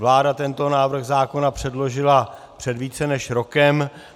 Vláda tento návrh zákona předložila před více než rokem.